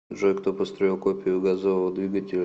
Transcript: джой кто построил копию газового двигателя